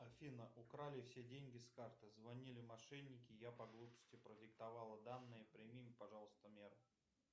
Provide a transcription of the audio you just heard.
афина украли все деньги с карты звонили мошенники и я по глупости продиктовала данные прими пожалуйста меры